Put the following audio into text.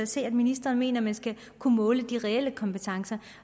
se at ministeren mener man skal kunne måle de reelle kompetencer